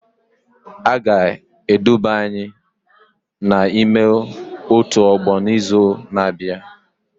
A ga-eduba anyị n'ime otu ọgbọ n'izu na-abịa